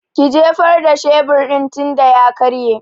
Ki jefar da shebur din tinda ya karye!